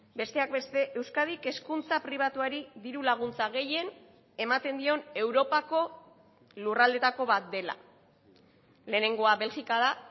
besteak beste euskadik hezkuntza pribatuari diru laguntza gehien ematen dion europako lurraldeetako bat dela lehenengoa belgika da